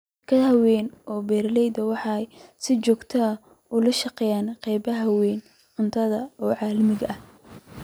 Shirkadaha waaweyn ee beeralayda waxay si joogta ah ula shaqeeyaan qaybiyeyaasha cuntada ee caalamiga ah.